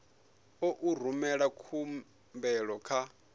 ḓo u rumela khumbelo kha